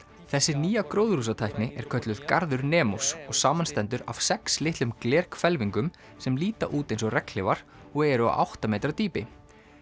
þessi nýja er kölluð Garður og samanstendur af sex litlum sem líta út eins og regnhlífar og eru á átta metra dýpi